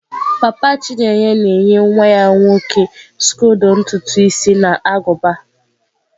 papa chineye na-enye nwa ya nwoke skodo ntutu isi na agụba.